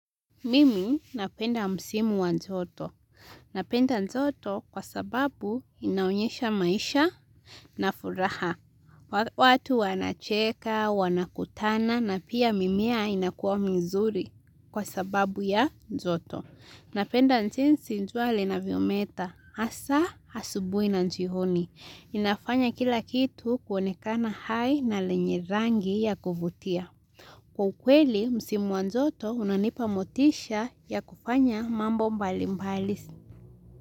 Mimi napenda msimu wa joto. Napenda njoto kwa sababu inaonyesha maisha na furaha. Watu wanacheka, wanakutana na pia mimea inakuwa mizuri kwa sababu ya njoto. Napenda nzinsi jinsi jua linavyometa. Hasaa asubuhi na njioni. Inafanya kila kitu kuonekana hai na lenye rangi ya kuvutia. Kwa ukweli, msimu wa njoto unanipa motisha ya kufanya mambo mbali mbali.